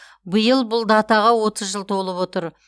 биыл бұл датаға отыз жыл толып отыр